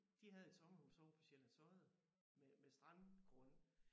De havde et sommerhus ovre på Sjællands Odde med med strandgrund